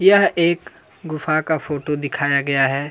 यह एक गुफ़ा का फोटो दिखाया गया है।